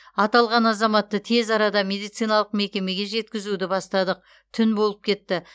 аталған азаматты тез арада медициналық мекемеге жеткізуді бастадық түн болып кетті